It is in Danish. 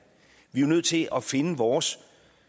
vi er jo nødt til at finde vores